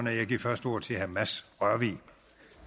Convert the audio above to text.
jeg giver først ordet til herre mads rørvig